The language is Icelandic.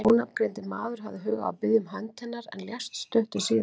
Þessi ónafngreindi maður hafði hug á að biðja um hönd hennar, en lést stuttu síðar.